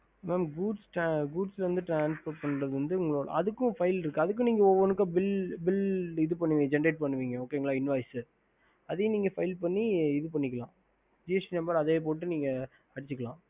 ஹம்